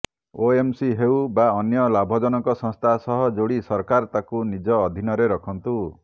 OMC ହେଉ ବା ଅନ୍ୟ ଲାଭଜନକ ସଂସ୍ଥା ସହ ଯୋଡ଼ି ସରକାର ତାକୁ ନିଜ ଅଧୀନରେ ରଖନ୍ତୁ